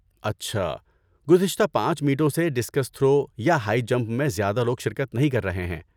اچھا! گزشتہ پانچ میٹوں سے ڈسکس تھرو یا ہائی جمپ میں زیادہ لوگ شرکت نہیں کر رہے ہیں۔